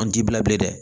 An t'i bila bilen dɛ